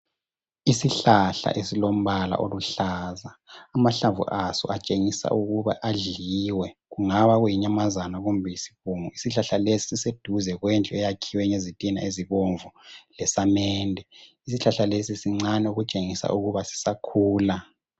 Isishlahla esilombala oluhlaza, amahlamvu aso atshengisa ukuba adliwe. Kungabe kuyinyamazana kumbe isibungu isihlahla lesi siseduze kwendlu eyakhiwe ngezitina ezibomvu lesamende. Isihlahla lesi sincane okutshengisela ukuba sisakhula.